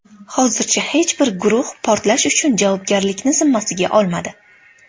Hozircha hech bir guruh portlash uchun javobgarlikni zimmasiga olmadi.